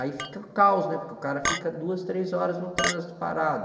Aí fica o caos, né, porque o cara fica duas, três horas no trânsito parado.